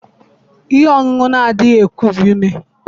ihe ọṅụṅụ na-adịghị kubie ume